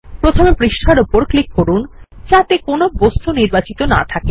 প্রথমে পাতার উপর ক্লিক করুন যাতে কোন বস্তু নির্বাচিত না থাকে